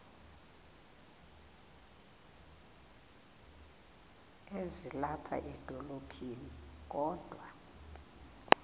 ezilapha edolophini kodwa